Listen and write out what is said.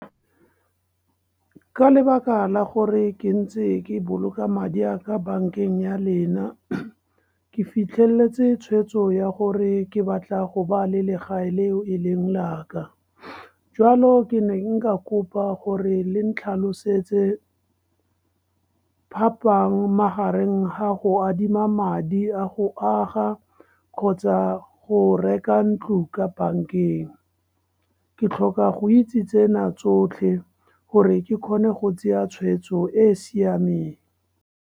Ka lebaka la gore ke ntse ke boloka madi a ka bankeng ya lena ke fitlheletse tshweetso ya gore ke batla go ba le legae le o e leng laka. Jwalo ke ne nka kopa gore le tlhalosetse phaphang magareng ga go adima madi a go aga kgotsa go reka ntlo ka bankeng. Ke tlhoka go itse tsena tsotlhe gore ke kgone go tsaya tshweetso e e siameng.